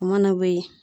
O mana bɔ yen